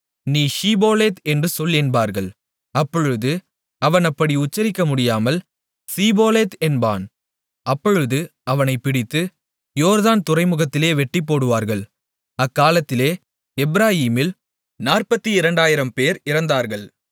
நீ ஷிபோலேத் என்று சொல் என்பார்கள் அப்பொழுது அவன் அப்படி உச்சரிக்க முடியாமல் சிபோலேத் என்பான் அப்பொழுது அவனைப் பிடித்து யோர்தான் துறைமுகத்திலே வெட்டிப்போடுவார்கள் அக்காலத்திலே எப்பிராயீமில் 42000 பேர் இறந்தார்கள்